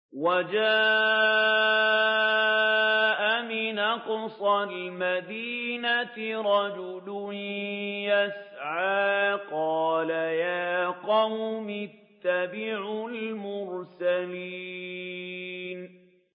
وَجَاءَ مِنْ أَقْصَى الْمَدِينَةِ رَجُلٌ يَسْعَىٰ قَالَ يَا قَوْمِ اتَّبِعُوا الْمُرْسَلِينَ